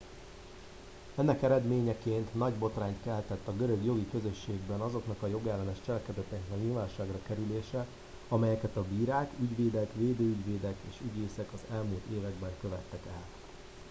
ennek eredményeként nagy botrányt keltett a görög jogi közösségben azoknak a jogellenes cselekedetnek a nyilvánosságra kerülése amelyeket a bírák ügyvédek védőügyvédek és ügyészek az elmúlt években követtek el